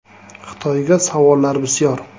Xitoyga savollar bisyor.